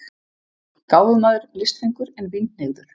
Gáfumaður, listfengur, en vínhneigður.